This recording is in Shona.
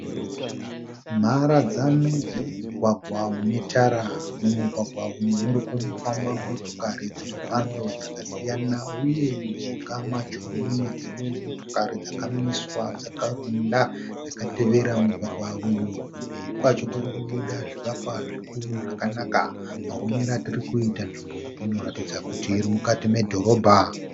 Mharadzano dzemugwagwa mune tara. Mumugwagwa umu murikufamba motokari dzemhando dzakasiyana, uye mujinga macho mune dzimwe motokari dzakamiswa dzakawanda dzakatevera mugwagwa uyu. Kumberi kwacho Kuri kubuda zvivakwa zvikuru zvakanaka. Maoneri andiri kuita nzvimbo iyi inoratidza kuti iri mukati medhorobha.